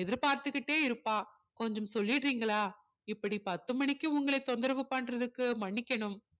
எதிர்பார்த்துக்கிட்டே இருப்பா கொஞ்சம் சொல்லிடுறீங்களா இப்படி பத்து மணிக்கு உங்களை தொந்தரவு பண்றதுக்கு மணிக்கணும்